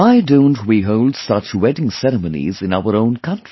Why don't we hold such wedding ceremonies in our own country